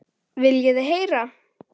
Viljið þið heyra?